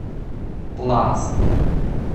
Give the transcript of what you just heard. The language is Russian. пласт